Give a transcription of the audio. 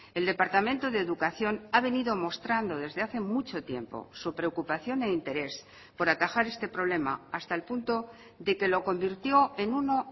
el departamento de educación ha venido mostrando desde hace mucho tiempo su preocupación e interés por atajar este problema hasta el punto de que lo convirtió en uno